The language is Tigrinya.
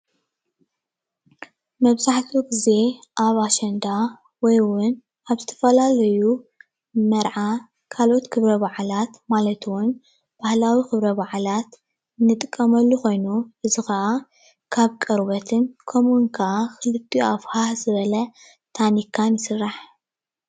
መብዛሕትኡ ግዜ ኣብ ኣሸንዳ ወይ እውን ኣብ ዝተፈላለዩ መርዓ ካልኦት ክብረ ብዓላት ማለት እውን ባህላዊ ክብረ ብዓላት ንጥቀመሉ ኮይኑ እዚ ክዓ ካብ ቆርበትን ከምኡ እውን ክዓ ብክሊትኡ ኣፉ ሃህ ዝበል ታኒካ ይስራሕ።